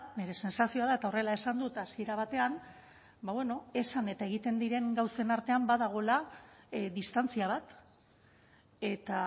nire sentsazioa da eta horrela esan dut hasiera batean ba bueno esan eta egiten diren gauzen artean badagoela distantzia bat eta